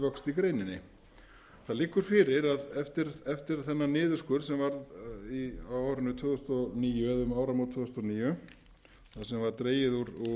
vöxt í greininni það liggur fyrir eftir þennan niðurskurð sem varð á árinu tvö þúsund og níu eða um áramót tvö þúsund og níu þar sem var dregið úr